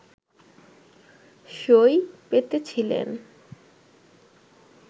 সই পেতেছিলেন